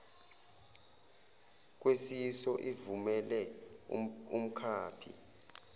kwesiyiso ivumele umkhaphi